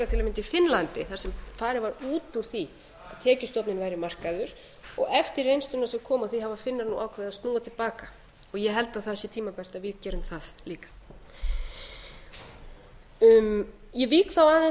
til að mynda í finnlandi þar sem farið var út úr því að tekjustofninn væri markaður og eftir reynsluna sem kom af því hafa finnar nú ákveðið að snúa til baka ég held að það sé tímabært að við gerum það líka ég vík þá aðeins